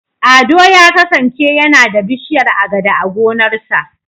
Ado ya kasance yana da bishiyar Agada a gonarsa.